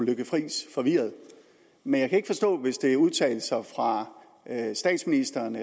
lykke friis forvirret men jeg kan ikke forstå hvis det er udtalelser fra statsministeren